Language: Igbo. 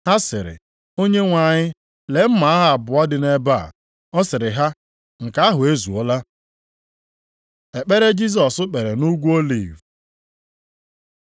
Ha sịrị, “Onyenwe anyị, lee mma agha abụọ dị ebe a.” Ọ sịrị ha, “Nke ahụ ezuola.” Ekpere Jisọs kpere nʼUgwu Oliv